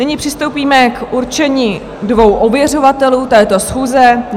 Nyní přistoupíme k určení dvou ověřovatelů této schůze.